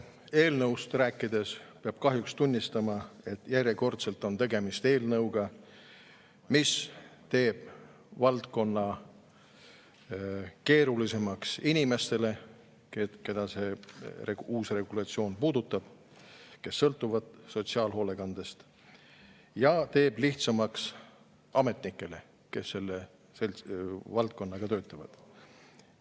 Eelnõust rääkides peab kahjuks tunnistama, et järjekordselt on tegemist eelnõuga, mis teeb keerulisemaks inimestele, keda see uus regulatsioon puudutab, kes sõltuvad sotsiaalhoolekandest, ja teeb lihtsamaks ametnikele, kes selles valdkonnas töötavad.